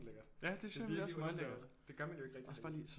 Lækkert det er virkelig undervurderet det gør man jo ikke rigtigt